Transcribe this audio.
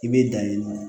I bɛ danni